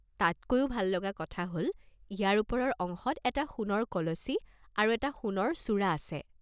তাতকৈও ভাল লগা কথা হ'ল ইয়াৰ ওপৰৰ অংশত এটা সোণৰ কলচী আৰু এটা সোণৰ চূড়া আছে।